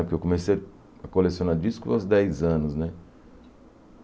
Porque eu comecei a colecionar disco aos dez anos, né?